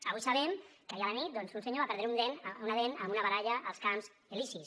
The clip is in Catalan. avui sabem que ahir a la nit un senyor va perdre una dent en una baralla als camps elisis